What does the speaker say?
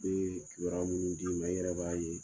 N'u ye kibaruya minnu d'i ma, i yɛrɛ b'a ye.